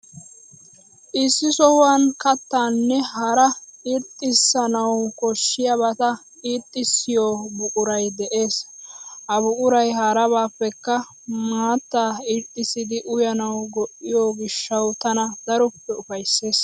Issi sohuwan kattaanne hara irxxissanawu koshshiyabata irxxissiyoo buquray de'ees. Ha buquray harabaappekka maattaa irxxissidi uyanawu go'iyoo gishshawu tana daroppe ufayssees.